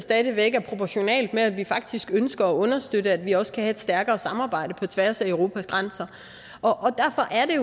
stadig væk er proportionalt med at vi faktisk ønsker at understøtte at vi også kan have et stærkere samarbejde på tværs af europas grænser derfor er